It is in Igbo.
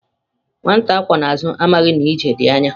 Nwata akwó na azu, amaghi na ije di anya